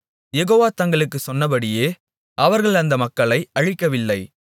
யெகோவா தங்களுக்குச் சொன்னபடி அவர்கள் அந்த மக்களை அழிக்கவில்லை